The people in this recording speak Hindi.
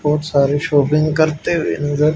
बहुत सारे शॉपिंग करते हुए नजर--